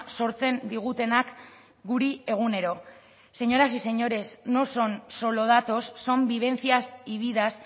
sortzen digutenak guri egunero señoras y señores no son solo datos son vivencias y vidas